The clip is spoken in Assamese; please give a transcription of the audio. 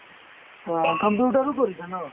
অ, computer ও কৰিছা ন ?